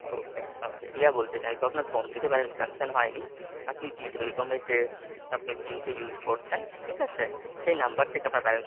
Okay, okay, Riya বলতে চাইবো আপনার phone থেকে balance deduction হয়নি, আপনিD Telecom এর যে আপনি সিমটা use করছেন, ঠিক আছে? সেই নাম্বার থেকে আপনার balance,